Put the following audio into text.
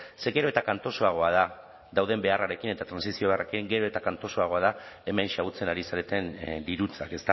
ze gero eta kantosoagoa da dauden beharrarekin eta trantsizioarekin gero eta kantosoagoa da hemen xahutzen ari zareten dirutzak